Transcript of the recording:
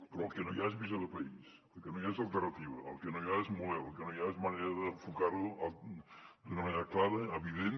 però el que no hi ha és visió de país el que no hi ha és alternativa el que no hi ha és model el que no hi ha és manera d’enfocar ho d’una manera clara evident